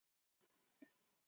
Gunnþórunn